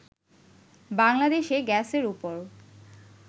বাংলাদেশে গ্যাসের ওপর